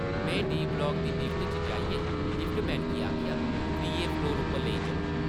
मैं D. Block दी lift च जाइयै लिफ्ट-मैन गी आखेआ, ‘‘त्रिये फ्लोर उप्पर लेई चलो ।’’